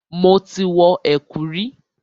Mo ti wọ ẹ̀kú rí.